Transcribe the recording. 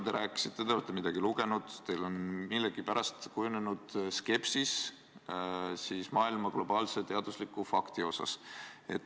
Te rääkisite, et te olete midagi lugenud ja teil on millegipärast kujunenud skepsis globaalse teadusliku fakti suhtes.